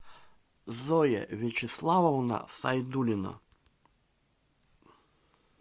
зоя вячеславовна сайдулина